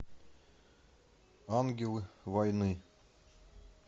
ангелы войны